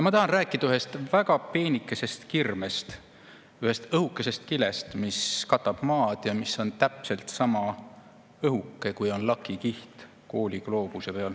Ma tahan rääkida ühest väga peenikesest kirmest, ühest õhukesest kilest, mis katab Maad ja mis on täpselt sama õhuke, kui on lakikiht kooligloobuse peal.